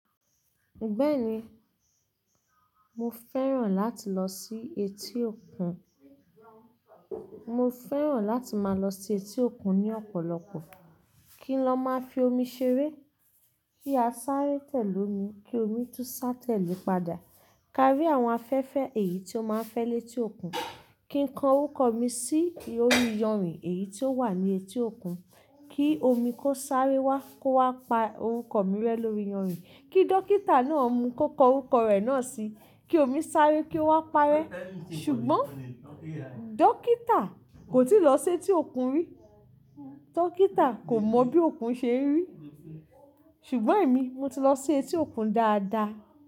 Bẹ́ẹ̀ni, mo fẹ́ràn láti lọ sí etí òkun. Mó fẹ́ràn láti máa lọ sí etí òkùn ní ọ̀pọ̀lọpọ̀, kí n lọ máa fi ómí ṣeré. Bí a sáré tẹ̀lè ómi, kí ómi tún sá tẹ̀lé padà. Kárí àwọn afẹ́fẹ́ èyí tí ó máa ń fẹ́ lé etí òkun, kí n kò orúkọ mi sí orí iyanrìn èyí tí ó wà ní etí òkun, kí ómi kó sáré wá kó wá pa orúkọ mi rẹ lórí iyanrìn. Kí dókítà náà mú kó kò orúkọ rẹ̀ náà sí i, kí omi sáré kí ó wá parẹ́. Ṣùgbọ́n dókítà kò tíì lọ sí etí òkun rí. Dókítà kò mọ bí òkun ṣe rí. Ṣùgbọ́n èmi mo ti lọ sí etí òkun dáadáa.